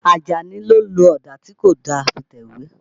Àjàní ló lo ọ̀dà tí kò da fi tẹ̀wé.